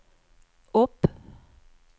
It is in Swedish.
upp